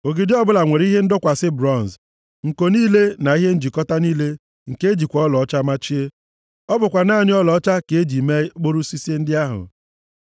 Ogidi ọbụla nwere ihe ndọkwasị bronz. Nko niile na ihe njikọta niile ka e jikwa ọlaọcha machie. Ọ bụkwa naanị ọlaọcha ka e ji mee okporo osisi ndị ahụ.